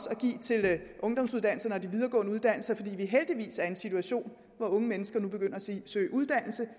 at give til ungdomsuddannelserne og de videregående uddannelser fordi vi heldigvis er i en situation hvor unge mennesker nu begynder at søge uddannelse